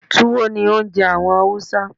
Túwó ni oúnje àwon Hausa